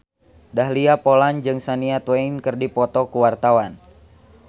Dahlia Poland jeung Shania Twain keur dipoto ku wartawan